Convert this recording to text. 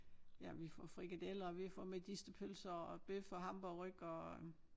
Ja vi får frikadeller og vi får medisterpølse og bøf og hamburgerryg og øh